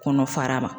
Kɔnɔ fara ma